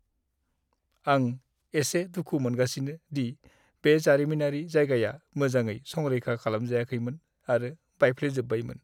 आं एसे दुखु मोनगासिनो दि बे जारिमिनारि जायगाया मोजाङै संरैखा खालामजायाखैमोन आरो बायफ्लेजोब्बायमोन।